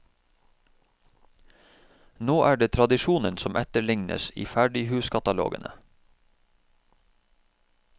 Nå er det tradisjonen som etterlignes i ferdighuskatalogene.